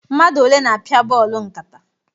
Mmadụ ole na-apịa bọọlụ nkata?